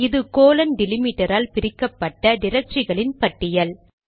அது கோலன் டிலிமிடரால் பிரிக்கப்பட்ட டிரக்டரிகளின் பட்டியல்